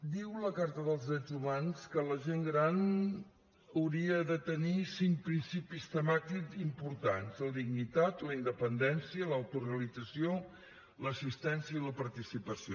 diu la carta dels drets humans que la gent gran hauria de tenir cinc principis temàtics importants la dignitat la independència l’autorealització l’assistència i la participació